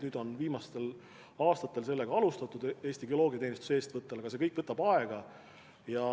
Nüüd on viimastel aastatel sellega alustatud Eesti Geoloogiateenistuse eestvõttel, aga see kõik võtab aega.